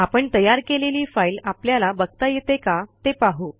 आपण तयार केलेली फाईल आपल्याला बघता येते का ते पाहू